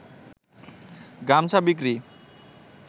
গামছা বিক্রি